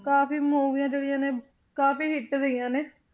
ਕਾਫ਼ੀ ਮੂਵੀਆਂ ਜਿਹੜੀਆਂ ਨੇ ਕਾਫ਼ੀ hit ਰਹੀਆਂ ਨੇ।